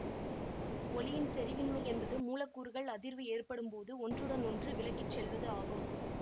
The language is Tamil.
ஒலியின் செரிவின்மை என்பது மூலக்கூறுகள் அதிர்வு ஏற்படும் போது ஒன்றுடன் ஒன்று விலகி செல்வது ஆகும்